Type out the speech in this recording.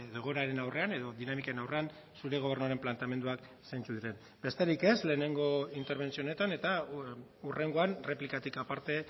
egoeraren aurrean edo dinamiken aurrean zure gobernuaren planteamenduak zeintzuk diren besterik ez lehenengo interbentzio honetan eta hurrengoan erreplikatik aparte